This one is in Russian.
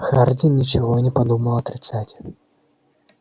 хардин ничего и не подумал отрицать